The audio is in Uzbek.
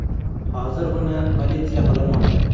Hozir uni politsiya qidirmoqda.